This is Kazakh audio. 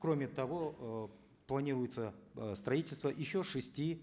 кроме того э планируется э строительство еще шести